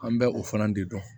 An bɛ o fana de dɔn